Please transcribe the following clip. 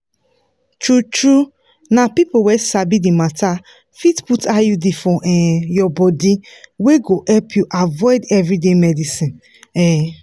true-true na people wey sabi the matter fit put iud for um your body wey go help you avoid everyday medicines. um